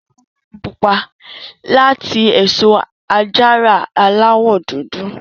Wọn ṣe wáìnì pupa láti èso àjàrà Aláwọ̀ dúdú